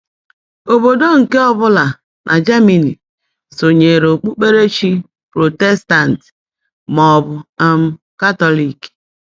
Obodo nke ọbụla na Germany sonyeere okpukperechi Protestant maọbụ um Katọlik.